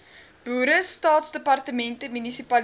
boere staatsdepartemente munisipaliteite